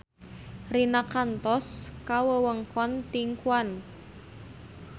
Rina kantos ka wewengkon Tianquan